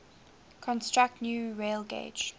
construct new railgauge